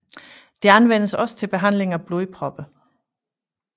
Det anvendes også til behandling af blodpropper